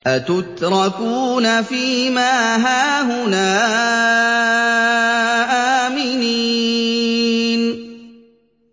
أَتُتْرَكُونَ فِي مَا هَاهُنَا آمِنِينَ